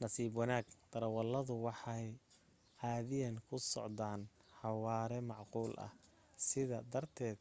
nasiib wanaag darawaladu waxay caadiyan ku socdan xawaare macquul ah sidaa darteed